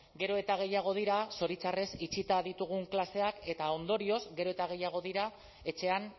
gero eta gehiago dira zoritxarrez itxita ditugun klaseak eta ondorioz gero eta gehiago dira etxean